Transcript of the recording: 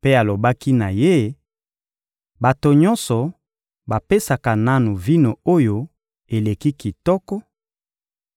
mpe alobaki na ye: «Bato nyonso bapesaka nanu vino oyo eleki kitoko;